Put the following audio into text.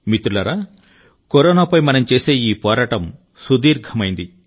మిత్రులారా కరోనాపై మనం చేసే ఈ పోరాటం సుదీర్ఘమైంది